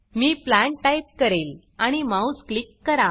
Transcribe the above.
मी plant type करेल आणि mouse click करा